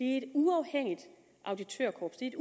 et uafhængigt auditørkorps det er